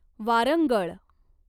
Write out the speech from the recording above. Warangal